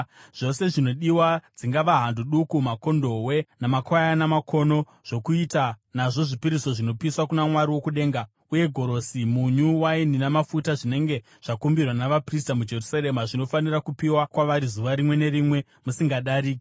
Zvose zvinodiwa, dzingava hando duku, makondobwe, namakwayana makono, zvokuita nazvo zvipiriso zvinopiswa kuna Mwari wokudenga, uye gorosi, munyu, waini namafuta, zvinenge zvakumbirwa navaprista muJerusarema, zvinofanira kupiwa kwavari zuva rimwe nerimwe musingadariki,